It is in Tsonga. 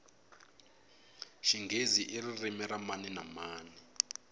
xinghezi iririmi ra mani na mani